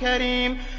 كَرِيمٌ